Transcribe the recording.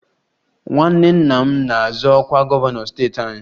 Nwanne nna m na-azọ ọkwa gọvanọ steeti anyị